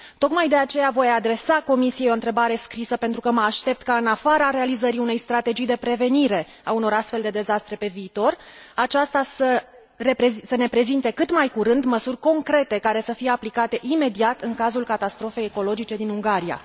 Tocmai de aceea voi adresa Comisiei o întrebare scrisă, pentru că mă aștept ca, în afara realizării unei strategii de prevenire a unor astfel de dezastre pe viitor, aceasta să ne prezinte cât mai curând măsuri concrete care să fie aplicate imediat în cazul catastrofei ecologice din Ungaria.